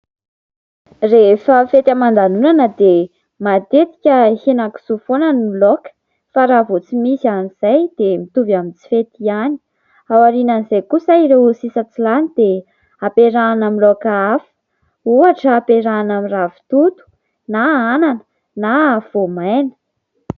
Rehefa fety haman-danonana dia matetika misy henan-kisoa foana ny laoka fa raha vao tsy misy an'izay dia mitovy amin'ny tsy fety ihany. Ao aorian'izay kosa ireo sisa tsy lany dia ampiarahana amin'ny laoka hafa. Ohatra, ampiarahana amin'ny ravitoto na anana na voamaina.